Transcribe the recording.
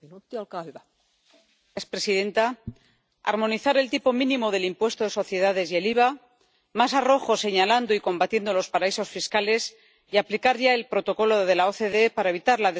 Señora presidenta, armonizar el tipo mínimo del impuesto de sociedades y el IVA, más arrojo señalando y combatiendo los paraísos fiscales y aplicar ya el protocolo de la OCDE para evitar la